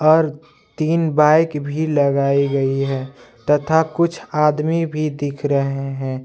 और तीन बाइक भी लगाई गई है तथा कुछ आदमी भी दिख रहे हैं।